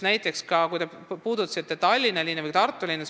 Te puudutasite Tallinna linna ja Tartu linna.